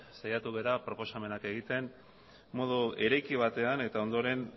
saiatu gara proposamenak egiten modu ireki batean eta ondoren